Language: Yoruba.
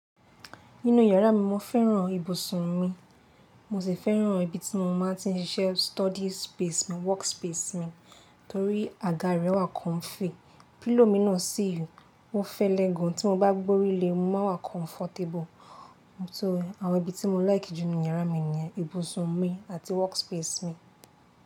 Nínú yàrá mi, mo fẹ́ràn ibùsùn mi, mo sì fẹ́ràn ibi tí mo máa ń tí ń ṣiṣẹ́ study space mi, work space mi torí àga rẹ̀ wà comfy. Pillow mi náà sì wù, ó fẹ́lẹ́ gan. Tí mo bá gbé orí lé e, mo máa wà comfortable. Só, àwọn ibi tí mo like jù ní yàrá mi ni ibùsùn mi àti work space mi.